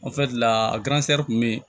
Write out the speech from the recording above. kun be yen